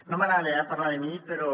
no m’agrada eh parlar de mi però